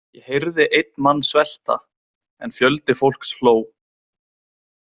Ég heyrði einn mann svelta en fjöldi fólks hló.